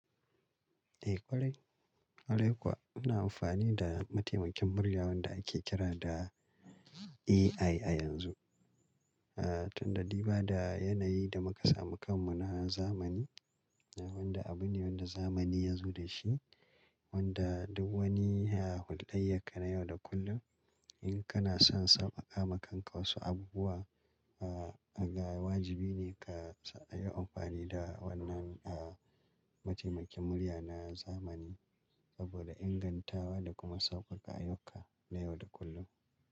Eh kware, kware kuwa ina amfani da mataimakin murya wanda ake kira da AI a yanzu. Ah tunda riba da yanayi da muka samu kanmu na zamani, wanda abu ne wanda zamani ya zo da shi, wanda duk wani a hulɗayyar ka na yau da kullum in kana son sauƙama ma kanka wasu abubuwa, ah ga wajibi ne ka yi amfani da wannan ah mataimakin murya na zamani saboda ingantawa da kuma sauƙaƙa ayyuka na yau da kullum.